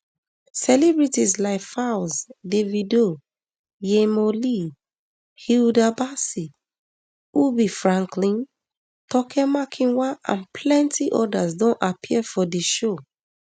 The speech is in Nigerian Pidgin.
celebrities like falz davido yhemo lee hilda bacci ubi franklin toke makinwa and plenti odas don appear for di show